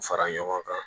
Fara ɲɔgɔn kan